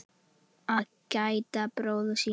Að gæta bróður síns